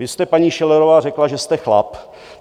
Vy jste, paní Schillerová, řekla, že jste chlap.